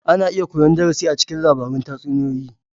Ana iya koyan darasi a cikin labaran tatsuniyoyi.